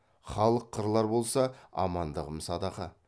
халық қырылар болса амандығым садаға